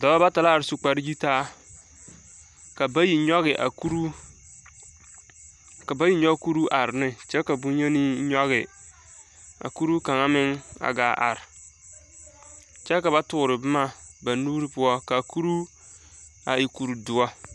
Dɔbɔ bata la are su kpare yitaa. Ka bayi nyɔge a kuruu, ka bayi nyɔge kuruu are ne kyɛ ka boŋ yeni nyɔge a kuruu kaŋa meŋ a gaa are kyɛ ka ba tore boma meŋ ba nuuri poɔ. Ka kuruu a e kuri doɔ.